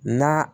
Na